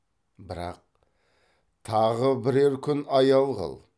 бірақ тағы бірер күн аял қыл